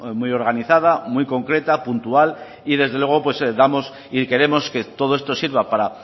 muy organizada muy concreta puntual y desde luego damos y queremos que todo esto sirva para